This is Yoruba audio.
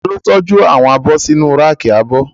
Ta ló tọ́jú àwọn abọ́ sínu ráàkì abọ́?